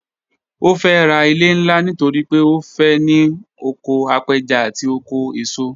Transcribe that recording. Ó fẹ́ ra ilẹ̀ ńlá nítorí pé ó fẹ́ ní oko apẹja àti oko eso